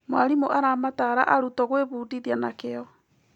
Mwarimũ aramatara arutwo gwĩbundithia na kĩyo.